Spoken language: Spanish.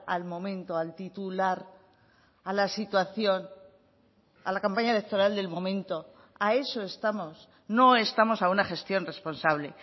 al momento al titular a la situación a la campaña electoral del momento a eso estamos no estamos a una gestión responsable